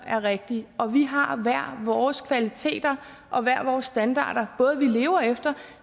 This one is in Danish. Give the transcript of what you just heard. er rigtig og vi har hver vores kvaliteter og hver vores standarder både for hvad vi lever efter